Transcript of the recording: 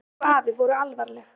Hún og afi voru alvarleg.